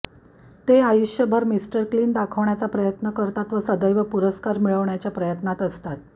ते आयुष्यभर mister clean दाखवण्याचा प्रयत्न करतात व सदैव पुरस्कार मिळवण्याच्या प्रयत्नात असतात